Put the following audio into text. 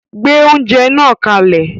Gbé oúnjẹ náà kalẹ̀